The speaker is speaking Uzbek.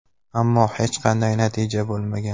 Ammo hech qanday natija bo‘lmagan.